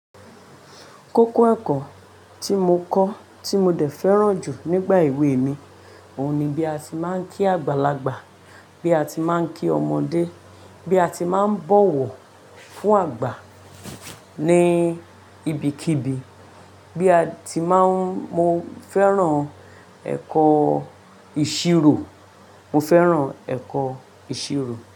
Kókó ẹ̀kọ́ tí mo kọ́ tí mo dẹ̀ fẹ́ràn jù nígbà èwe mi, òhun ni bí a ti máa ń kí àgbàlagbà, bí a ti máa ń kí ọmọdé, bí a ti máa ń bọ̀wọ̀ fún àgbà ní ibikíbi, bí a ti máa ń. Mo fẹ́ràn ẹ̀kọ́ ìṣirò, mo fẹ́ràn ẹ̀kọ́ ìṣirò.